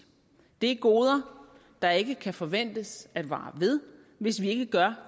det er goder der ikke kan forventes at vare ved hvis vi ikke gør